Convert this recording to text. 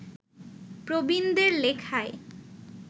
প্রবীণদের লেখায়